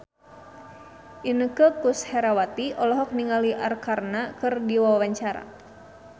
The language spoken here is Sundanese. Inneke Koesherawati olohok ningali Arkarna keur diwawancara